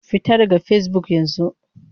Fita daga Facebook yanzu!